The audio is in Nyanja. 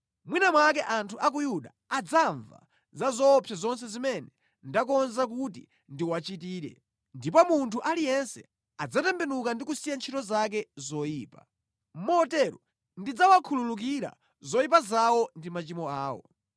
Mwina mwake anthu a ku Yuda adzamva za zoopsa zonse zimene ndakonza kuti ndiwachitire, ndipo munthu aliyense adzatembenuka ndi kusiya ntchito zake zoyipa. Motero ndidzawakhululukira zoyipa zawo ndi machimo awo.”